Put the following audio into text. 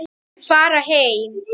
Fara heim!